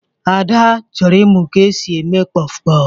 Ada chọrọ ịmụ ka e si eme kpọfụ kpọfụ.